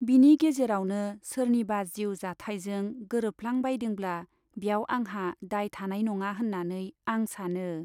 बिनि गेजेरावनो सोरनिबा जिउ जाथाइजों गोरोबफ्लां बायदोंब्ला ब्याव आंहा दाय थानाय नङा होन्नानै आं सानो।